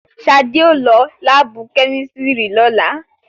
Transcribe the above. Ṣadé ó lọ láàbù kẹ́mísìrì lọ́la